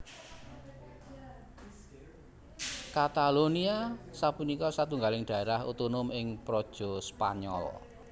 Katalonia sapunika satunggiling dhaérah otonom ing praja Spanyol